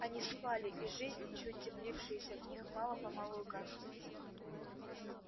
они спали и жизнь чуть теплившаяся в них мало помалу гасла